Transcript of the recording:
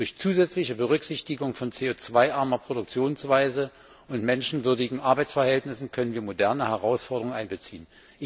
Durch zusätzliche Berücksichtigung von CO 2 armer Produktionsweise und menschenwürdigen Arbeitsverhältnissen können wir moderne Herausforderungen einbeziehen.